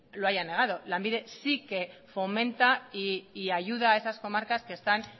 lo haya negado lanbide sí que fomenta y ayuda a esas comarcas que están